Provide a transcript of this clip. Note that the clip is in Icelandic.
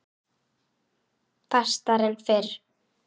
Fastar en fyrr.